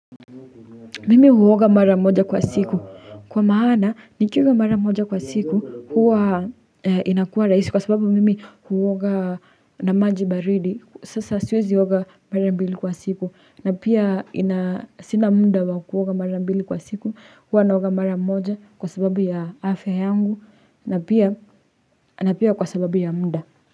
Mimi huoga mara moja kwa siku kwa maana nikiuoga mara moja kwa siku huwa inakua rahisi kwa sababu mimi huoga na maji baridi sasa siwezioga mara mbili kwa siku na pia sina muda wa kuoga mara mbili kwa siku huwa naoga mara moja kwa sababu ya afya yangu na pia na pia kwa sababu ya muda.